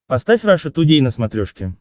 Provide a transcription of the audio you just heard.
поставь раша тудей на смотрешке